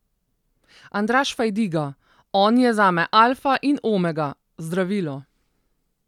Andraž Fajdiga: 'On je zame alfa in omega, zdravilo.